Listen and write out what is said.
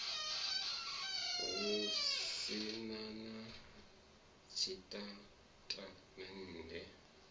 hu si na na tshitatamennde